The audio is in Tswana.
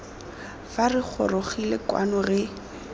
fa re gorogile kwao re